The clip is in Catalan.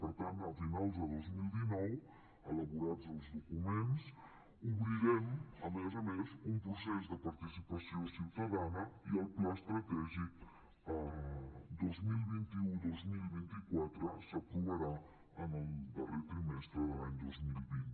per tant a finals de dos mil dinou elaborats els documents obrirem a més a més un procés de participació ciutadana i el pla estratègic dos mil vint u dos mil vint quatre s’aprovarà en el darrer trimestre de l’any dos mil vint